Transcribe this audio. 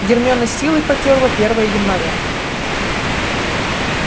гермиона с силой потёрла первое января